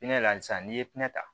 Pinɛ la sisan n'i ye pinɛ ta